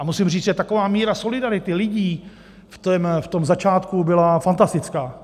A musím říct, že taková míra solidarity lidí v tom začátku byla fantastická.